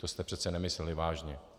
To jste přeci nemysleli vážně.